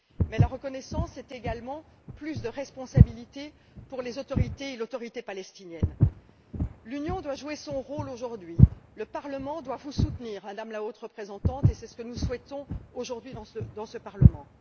Mais la reconnaissance, c'est également plus de responsabilité pour les autorités et l'Autorité palestinienne. L'Union doit jouer son rôle aujourd'hui. Le Parlement doit vous soutenir, Madame la Haute représentante, et c'est ce que nous souhaitons, aujourd'hui, dans ce Parlement.